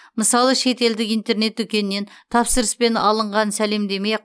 мысалы шетелдік интернет дүкеннен тапсырыспен алынған сәлемдеме